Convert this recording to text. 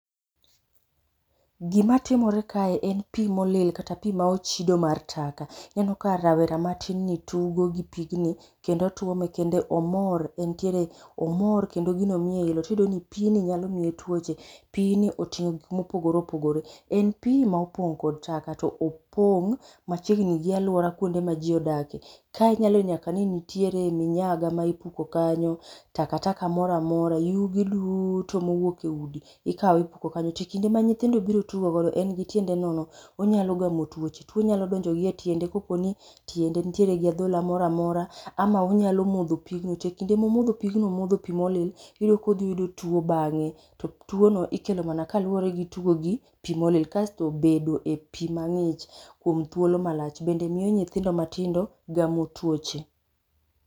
Gima timore kae en pi molil, kata pi maochido mar taka. Ineno ka rawera matinni tugo gi pigni, kendo otwome, kendo omor, entiere, omor kendo gini miye ilo. Tiyudo ni pi ni nyalo miye tuoche. Pi ni otingó gik ma opogore opogore. En pi ma opong'kod taka, to opong' ma chiegni gi alwora kuonde ma ji odake. Kae inyalo yudo nyaka ni nitiere minyaga ma ipuko kanyo, takataka moramora, yugi duto mowuok e udi. Ikawo ipuko kanyo. To kinde ma nyithindo biro godo, en gi tiende nono, onyalo gamo twoche. Two nyalo donjo gi e tiende, ka po ni tiende nitie gi adhola mora mora. Ama onyalo modho pigno. To e kinde momodho pigno, omodho pi molil, iyudo kodhiyudo two bangé. To two no ikelo mana kaluwore gi tugo gi pi molil. Kasto bedo e pi mangích kuom thuolo malach bende miyo nyithindo matindo gamo tuoche.